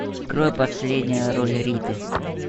открой последняя роль риты